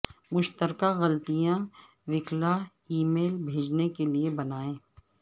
مشترکہ غلطیاں وکلاء ای میل بھیجنے کے لئے بنائیں